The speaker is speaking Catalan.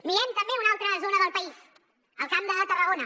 mirem també una altra zona del país el camp de tarragona